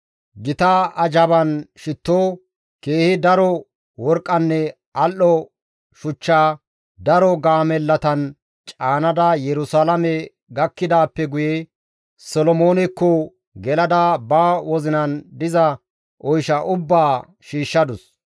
Gita azhaban shitto, keehi daro worqqanne al7o shuchchaa daro gaamellatan caanada Yerusalaame gakkidaappe guye Solomoonekko gelada ba wozinan diza oysha ubbaa shiishshadus.